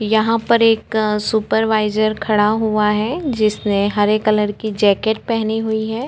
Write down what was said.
यहाँ पर एक सुपरवाइजर खड़ा हुआ है जिसने हरे कलर की जैकेट पहनी हुई हैं।